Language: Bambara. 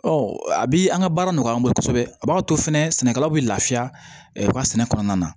a bi an ka baara nɔgɔya an bolo kosɛbɛ a b'a to fɛnɛ sɛnɛkɛlaw bi lafiya u ka sɛnɛ kɔnɔna na